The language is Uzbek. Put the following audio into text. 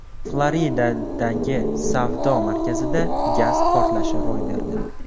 Floridadagi savdo markazida gaz portlashi ro‘y berdi.